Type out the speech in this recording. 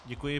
Děkuji.